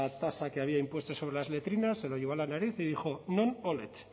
tasa que había impuesto sobre las letrinas se lo llevó a la nariz y dijo non olet